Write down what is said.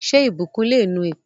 Ṣé ìbùkún le nu èpè?